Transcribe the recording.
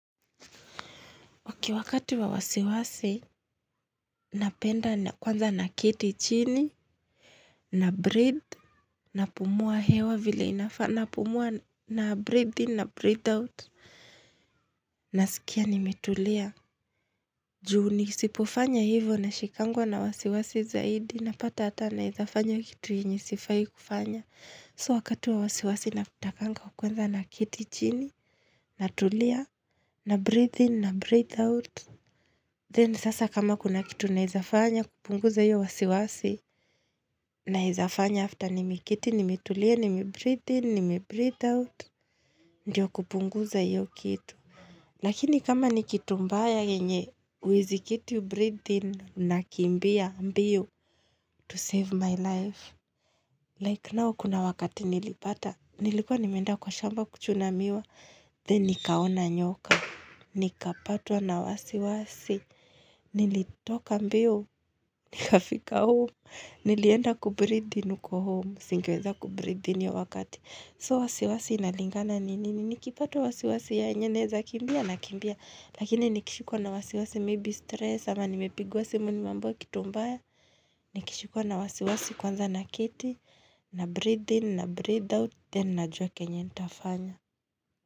Okay wakati wa wasiwasi, napenda na kwanza naketi chini, na breathe, napumua hewa vile inafaa, napumua na breathe in, na breathe out. Nasikia nimetulia. Juu nisipofanya hivo nashikangwa na wasiwasi zaidi, napata hata nawezafanya kitu yenye sifai kufanya. So wakati wa wasiwasi natakanga kwanza naketi chini, na tulia, na breathe in, na breathe out. Then sasa kama kuna kitu naezafanya, kupunguza hiyo wasiwasi, naezafanya after nimekiti, nimetulia, nimebreathe in, nimebreathe out, ndio kupunguza hio kitu. Lakini kama ni kitu mbaya yenye, huwezi keti ubreathe in, nakimbia mbio to save my life. Like now, kuna wakati nilipata, nilikuwa nimeenda kwa shamba kuchuna miwa, then nikaona nyoka, nikapatwa na wasiwasi, nilitoka mbio, nikafika home, nilienda kubreathe in huko home, singeweza kubreathe in hiyo wakati. So wasiwasi inalingana ni nini, nikipata wasiwasi yenye naeza kimbia nakimbia Lakini nikishikwa na wasiwasi maybe stress ama nimepigiwa simu nimeambiwa kitu mbaya Nikishikwa na wasiwasi kwanza na kiti, na breathe in, na breathe out, then najua kenye nitafanya.